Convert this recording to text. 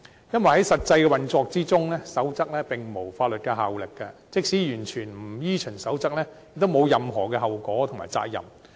因為在實際運作中，守則並無法律效力，即使完全不依循守則，亦沒有任何後果和責任。